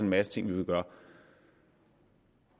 masse ting vi vil gøre